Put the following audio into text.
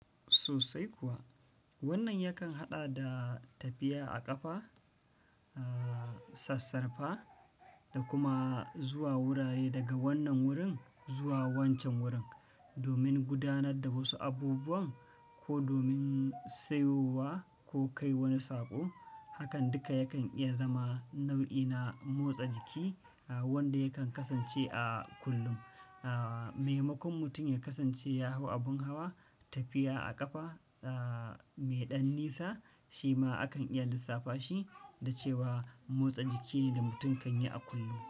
Sosai kuwa. Wannan yakan haɗa da tafiya a ƙafa, a sassarfa da kuma zuwa wurare daga wannan wurin zuwa wancan wurin domin gudanar da wasu abubuwa ko domin sayowa ko kai wani saƙo. Hakan duka yakan iya zama nau'i na motsa jiki wanda yakan kasance a kullum. Maimakon mutum ya kasance ya hau abun hawa, tafiya a ƙafa mai ɗan nisa shi ma akan iya lissafa shi da cewa motsa jiki ne da mutum kan yi a kullum.